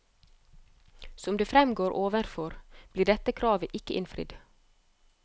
Som det fremgår overfor, ble dette kravet ikke innfridd.